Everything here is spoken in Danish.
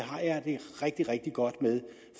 rigtig rigtig godt med